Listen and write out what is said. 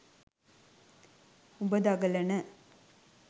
උඹ දඟලන